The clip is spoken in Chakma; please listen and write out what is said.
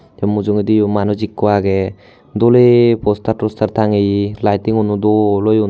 Tay mujugendi manuj ekko agay dole poster toster tangeye lightning uno dol oyon.